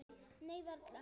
Nei, varla.